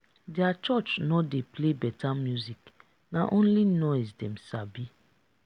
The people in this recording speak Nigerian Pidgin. their church no dey play better music na only noise dem sabi